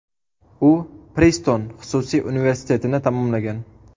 U Priston xususiy universitetini tamomlagan.